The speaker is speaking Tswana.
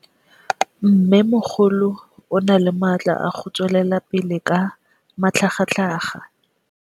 Mmêmogolo o na le matla a go tswelela pele ka matlhagatlhaga.